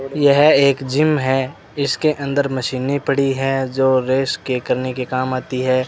यह एक जिम है इसके अंदर मशीनें पड़ी हैं जो रेस के करने के काम आती है।